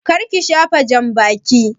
Kar ki shafa jambakin!